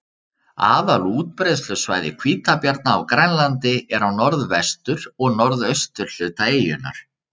Aðal útbreiðslusvæði hvítabjarna á Grænlandi er á norðvestur- og norðausturhluta eyjunnar.